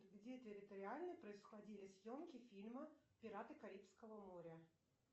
где территориально происходили съемки фильма пираты карибского моря